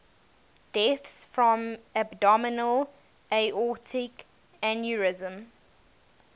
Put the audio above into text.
deaths from abdominal aortic aneurysm